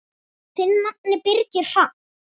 Þinn nafni, Birgir Hrafn.